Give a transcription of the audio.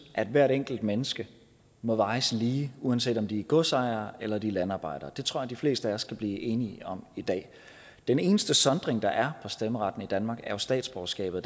at hvert enkelt menneske må vejes lige uanset om det er en godsejer eller det er en landarbejder det tror jeg de fleste af os kan blive enige om i dag den eneste sondring der er stemmeretten i danmark er jo statsborgerskabet